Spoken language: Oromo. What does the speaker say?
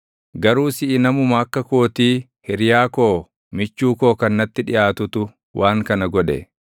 Garuu siʼi namuma akka kootii, hiriyaa koo, michuu koo kan natti dhiʼaatutu waan kana godhe.